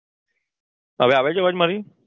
હવે આવે છે અવાજ મારી